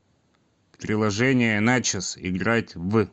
приложение начос играть в